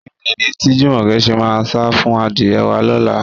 Kí ni ìdí tí Jùmọ̀kẹ́ ṣe máa sá fún adìyẹ wá lọ́la?